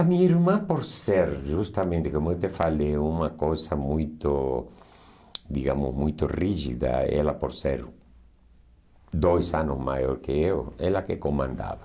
A minha irmã, por ser justamente, como eu te falei, uma coisa muito, digamos, muito rígida, ela por ser dois anos maior que eu, ela que comandava.